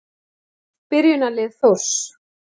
Byrjunarlið Þórs.